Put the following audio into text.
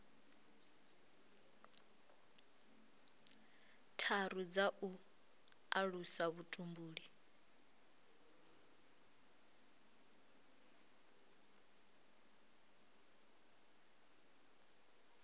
tharu dza u alusa vhutumbuli